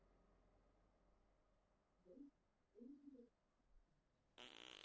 Veit Immi af henni?